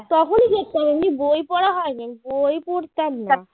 তখনি দেখতাম আমি বই পড়া হয়নি বই পড়তাম না